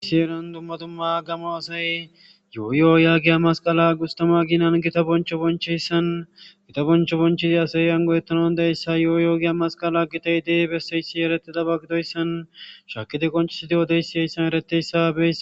Issi Heeran Dumma Dumma Gamo Asay Yooyoo Yaggiya Masqala Gustama Aginan Gita Boncho Bonchiyaysan Gita Boncho Bonchidi Asay Ani Go'etana Dandayiysa Yooyoo Giya Masqala Gitayid Besiyas Eretidaba Gidoysan Shakidi Qoncisidi Odoysan Haysan Eretiyasa Beyis